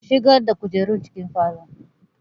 Shigar da kujerun cikin falon!